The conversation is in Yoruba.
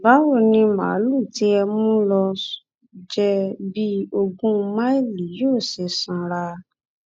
báwo ni màálùú tí ẹ mú lọọ jẹ bíi ogún máìlì yóò ṣe sanra